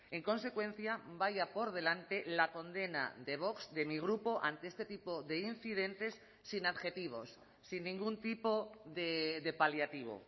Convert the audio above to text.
en consecuencia vaya por delante la condena de vox de mi grupo ante este tipo de incidentes sin adjetivos sin ningún tipo de paliativo